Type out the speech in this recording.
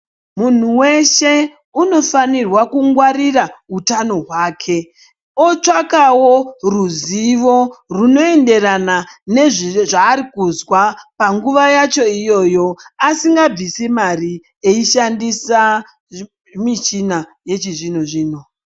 Munhu weshe unofanirwa kungwarira utano hwake. Otsvakawo ruzivo runoenderana nezvaari kuzwa panguva yacho iyoyo, asingabvisi mari eishandisa michina yechizvino zvino.